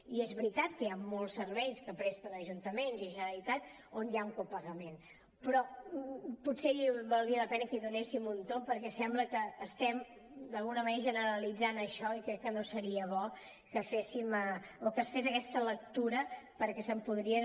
i és veritat que hi han molts serveis que presten ajuntaments i generalitat on hi ha un copagament però potser valdria la pena que hi donéssim un tomb perquè sembla que estem d’alguna manera generalitzant això i crec que no seria bo que es fes aquesta lectura perquè se’n podria